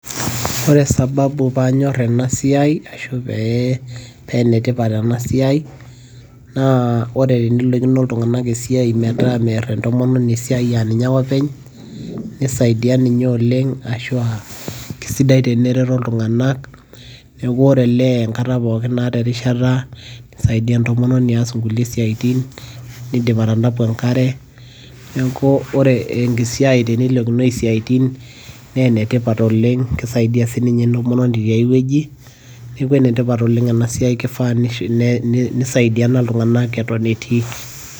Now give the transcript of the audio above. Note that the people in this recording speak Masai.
Ore sababu paanyor enasiai, ashu pee penetipat enasiai, naa ore teniloikino iltung'anak esiai metaa meer entomononi esiai aninye ake openy, nisaidia ninye oleng' ashua kesidai tenereto iltung'anak, neeku ore olee enkata pookin naata erishata, nisaidia entomononi aas inkulie siaitin, nidim atanapu enkare, neeku ore esiai teniloikinoi isiaitin, ne enetipat oleng',kisaidia sinye entomononi tiai wueji, neku enetipat oleng' enasiai, kifaa nisaidiana iltung'anak eton etii.